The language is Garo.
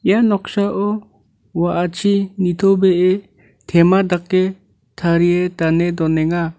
ia noksao wa·achi nitobee tema dake tarie dane donenga.